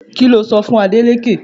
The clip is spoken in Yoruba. Kí lo sọ fún Adeleke?